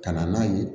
Ka na n'a ye